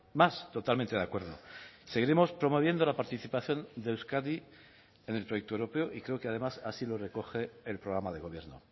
más totalmente de acuerdo seguiremos promoviendo la participación de euskadi en el proyecto europeo y creo que además así lo recoge el programa de gobierno